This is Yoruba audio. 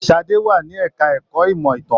Sadé wà ní ẹka ẹ̀kọ́ ìmọ ìtàn.